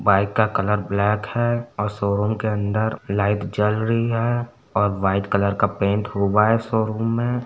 Bike का colour black है और शोरूम के अंदर लाइट जल रही है और वाइट कलर का पेंट हुआ है शोरुम में।